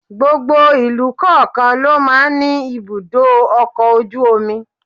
Gbogbo ìlú kọ̀ọ̀kan ló máa ń ní ibùdó ọkọ̀ ojú omi.